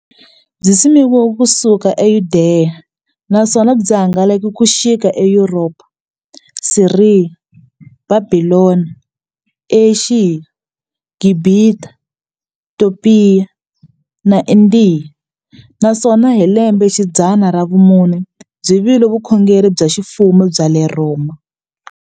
Byisimekiwe ku suka e Yudeya, naswona byi hangalake ku xika e Yuropa, Siriya, Bhabhilona, Ashiya, Gibhita, Topiya na Indiya, naswona hi lembexidzana ra vumune byi vile vukhongeri bya ximfumo bya le Rhoma.